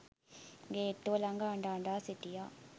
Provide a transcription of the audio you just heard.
ගේට්ටුව ලඟ අඬ අඬා සිටියා